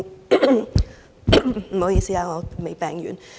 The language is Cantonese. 不好意思，我仍未康復。